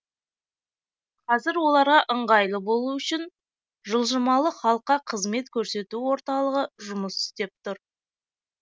қазір оларға ыңғайлы болу үшін жылжымалы халыққа қызмет көрсету орталығы жұмыс істеп тұр